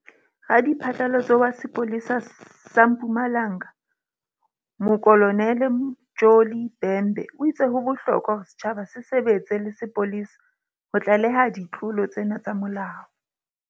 Radiphatlalatso wa sepole sa sa Mpumalanga Mokolo nele Mtsholi Bhembe o itse ho bohlokwa hore setjhaba se sebetse le sepolesa ho tlaleha ditlolo tsena tsa molao.